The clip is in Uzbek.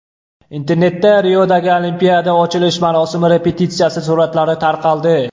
Internetda Riodagi Olimpiada ochilish marosimi repetitsiyasi suratlari tarqaldi .